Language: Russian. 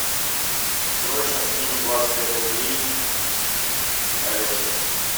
срочно скинь двадцать пять рублей алеше